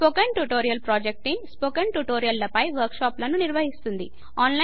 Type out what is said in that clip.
spoken tutorial project team spoken tutorial ల పైన work షాపులను నిర్వహిస్తుంది